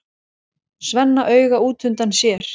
Svenna auga útundan sér.